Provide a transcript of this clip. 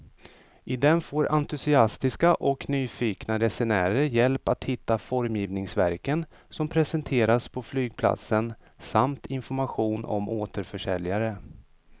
I den får entusiastiska och nyfikna resenärer hjälp att hitta formgivningsverken som presenteras på flygplatsen samt information om återförsäljare.